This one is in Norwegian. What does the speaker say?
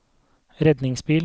redningsbil